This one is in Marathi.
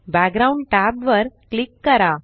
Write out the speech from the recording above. बॅकग्राउंड टॅब वर क्लिक करा